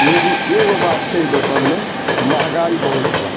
लेकिन एगो बात छे ए दूकान में महंगाई बहुत हिया।